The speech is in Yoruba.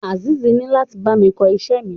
Azeez ni lati bámi ko iṣẹ mi.